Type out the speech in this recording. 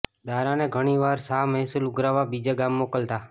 દારાને ઘણી વાર શાહ મહેસૂલ ઉઘરાવવા બીજે ગામ મોકલતા